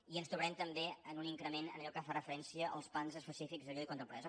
i ens trobarem també amb un increment en allò que fa referència als plans específics de lluita contra la pobresa